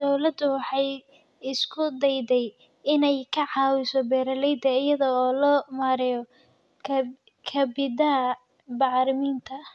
Dawladdu waxay isku dayday inay ka caawiso beeralayda iyada oo loo marayo kabidda bacriminta.